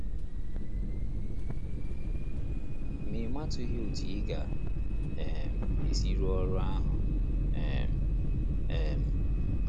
Ma ị matụghị otú ị ga um - esi rụọ ọrụ ahụ um. um